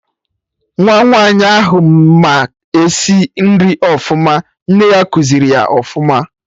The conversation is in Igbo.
Nwa Nwaanyi ahụ ma esi nri ọfụma, nne ya kuziri ya ọfụma